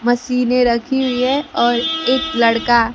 मशीने रखी हुई है और एक लड़का--